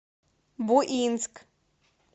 буинск